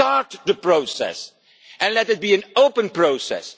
Start the process and let it be an open process.